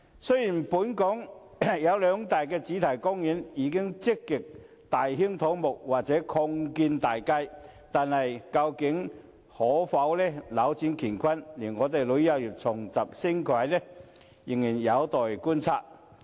雖然本港兩大主題公園已經積極大興土木或有擴建大計，但究竟可否扭轉乾坤，令旅遊業重拾升軌，仍有待觀察。